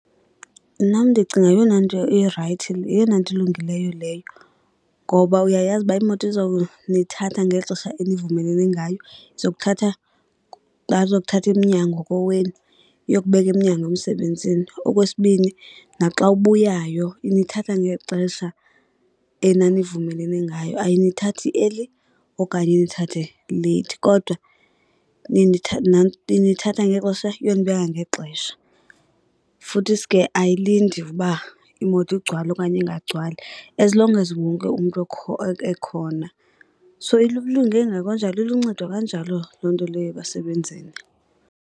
Mna ndicinga yeyona nto irayithi, yeyona nto elungileyo leyo ngoba uyayazi uba imoto izawunithatha ngeli xesha enivumelene ngayo. Izokuthatha, bazokuthatha emnyango kowenu iyokubeke emnyango emsebenzini. Okwesibini naxa ubuyayo inithatha ngexesha enanivumelene ngayo, ayinithathi eli okanye inithathe leyithi. Kodwa inithatha ngexesha iyonibeka ngexesha, futhisi ke ayilindi uba imoto igcwale okanye ingagcwali, as long as wonke umntu ekhona. So ilunge nakanjalo iluncedo kanjalo loo nto leyo ebasebenzini.